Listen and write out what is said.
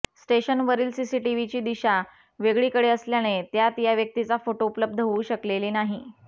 स्टेशनवरील सीसीटीव्हीची दिशा वेगळीकडे असल्याने त्यात या व्यक्तीचा फोटो उपलब्ध होऊ शकलेली नाही